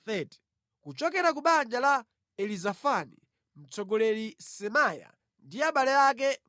kuchokera ku banja la Elizafani, mtsogoleri Semaya ndi abale ake 200;